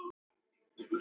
Ég fékk mér vænan slurk.